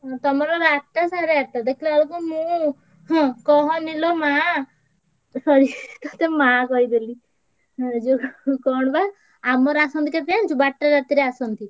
ତମର ଆଠଟା ସାଢେ ଆଠଟା ଦେଖିଲା ବେଳକୁ ମୁଁ ହୁଁ କହନୀ ଲୋ ମା sorry ତତେ ମା କହିଦେଲି ଯୋଉ କଣ ବା ଆମର ଆସନ୍ତି କେତବେଳେ ଜାଣିଛୁ ବାରଟା ରାତିରେ ଆସନ୍ତି।